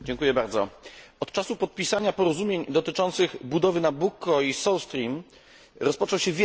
Od czasu podpisania porozumień dotyczących budowy Nabucco i South Stream rozpoczął się wielki wyścig.